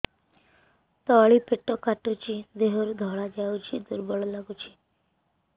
ତଳି ପେଟ କାଟୁଚି ଦେହରୁ ଧଳା ଯାଉଛି ଦୁର୍ବଳ ଲାଗୁଛି